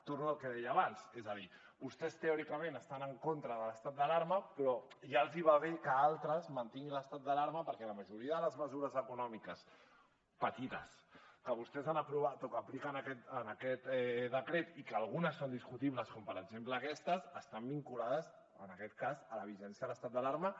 torno al que deia abans és a dir vostès teòricament estan en contra de l’estat d’alarma però ja els va bé que altres mantinguin l’estat d’alarma perquè la majoria de les mesures econòmiques petites que vostès han aprovat o que apliquen en aquest decret i que algunes són discutibles com per exemple aquestes estan vinculades a la vigència de l’estat d’alarma